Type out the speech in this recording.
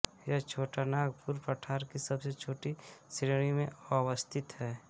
यह छोटा नागपुर पठार की सबसे छोटी श्रेणी में अवस्थित है